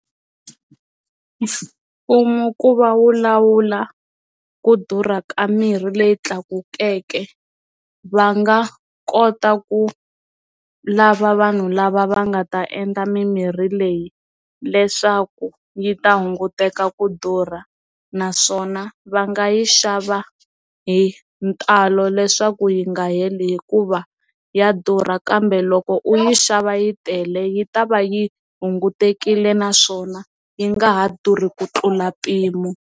Mfumo ku va wu lawula ku durha ka mirhi leyi tlakukeke va nga kota ku lava vanhu lava va nga ta endla mimirhi leyi leswaku yi ta hunguteka ku durha naswona va nga yi xava hi ntalo leswaku yi nga heli hikuva ya durha kambe loko u yi xava yi tele yi ta va yi hunguteka yile naswona yi nga ha durhi ku tlula mpimo.